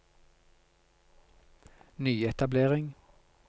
nyetablering